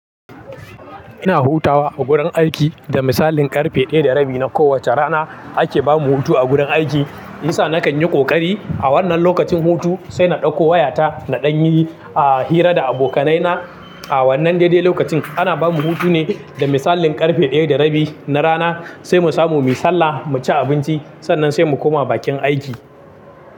Ina hutawa a gurin aiki, da misalin karfe ɗaya da rabi na kowata rana ake bamu hutu a gurin aiki. Yisa na kan yi ƙoƙari a wannan lokacin hutu sai na ɗauko wayata na ɗan yi a hira da abokanaina. A wannan dadai lokacin ana bamu hutu ne da misalin karfe ɗaya da rabi na rana sai mu samu muyi sallah, mu ci abinci sannan sai mu koma bakin aiki.